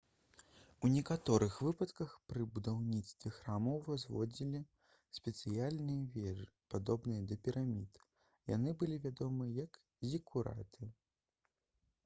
у некаторых выпадках пры будаўніцтве храмаў узводзілі спецыяльныя вежы падобныя да пірамід яны былі вядомы як зікураты